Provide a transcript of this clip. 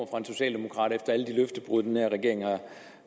fra en socialdemokrat efter alle de løftebrud den